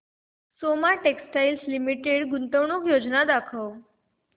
Soma textile limited गुंतवणूक योजना दाखव